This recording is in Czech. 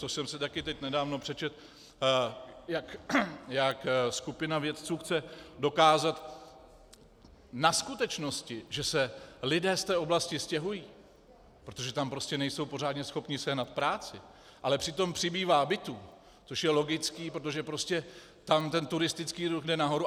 To jsem si taky teď nedávno přečetl, jak skupina vědců chce dokázat na skutečnosti, že se lidé z té oblasti stěhují, protože tam prostě nejsou pořádně schopní sehnat práci, ale přitom přibývá bytů, což je logické, protože prostě tam ten turistický ruch jde nahoru.